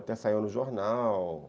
Até saiu no jornal.